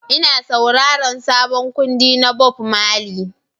Ina sauraron sabon kundi na Bob Marley